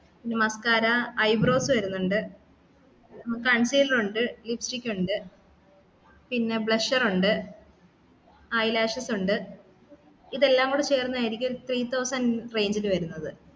muscara eyebrows വരുന്നുണ്ട് പിന്നെ concealer ഉണ്ട് lipstick ഉണ്ട് പിന്നെ blusher ഉണ്ട് ആ eyelashes ഉണ്ട് ഇതെല്ലാ കൂടെ ചേർന്നതായിരിക്കും three thousand range ലു വരുന്നത്